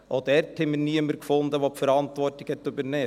Auch dort fanden wir niemanden, der die Verantwortung übernahm.